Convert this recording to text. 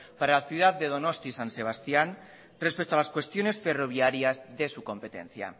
para la ciudad de donostia san sebastián respecto a las cuestiones ferroviarias de su competencia